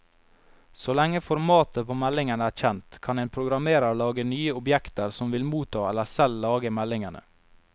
Så lenge formatet på meldingen er kjent, kan en programmerer lage nye objekter som vil motta eller selv lage meldingene.